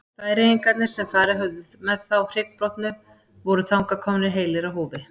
Færeyingarnir sem farið höfðu burt með þá hryggbrotnu voru þangað komnir heilir á húfi.